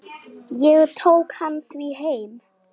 Ég tók hann því heim.